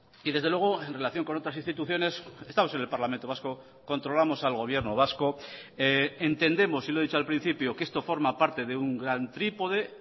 y desde luego en relación con otras instituciones estamos en el parlamento vasco controlamos al gobierno vasco entendemos y lo he dicho al principio que esto forma parte de un gran trípode